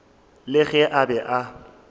le ge a be a